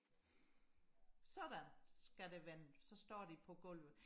sådan skal det vende så står de på gulvet